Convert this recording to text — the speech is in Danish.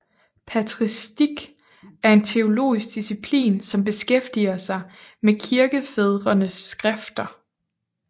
Patristik er en teologisk disciplin som beskæftiger sig med kirkefædrenes skrifter